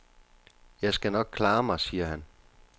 Jeg skal nok klare mig, siger han.